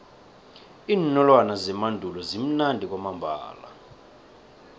iinolwana zemandulo zimnandi kwamambala